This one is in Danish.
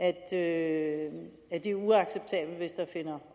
at det er uacceptabelt hvis der finder